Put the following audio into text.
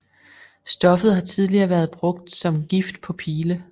Stoffet har tidligere været brugt som gift på pile